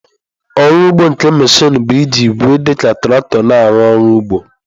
Ọrụ ugbo nke mechịn bụ iji igwe dị ka traktọ na-arụ ọrụ ugbo.